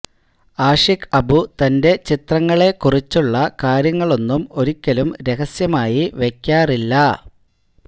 ആഷിഖ് അബു തന്റെ ചിത്രങ്ങളെ കുറിച്ചുള്ള കാര്യങ്ങളൊന്നും ഒരിക്കലും രഹസ്യമായി വയ്ക്കാറില്ല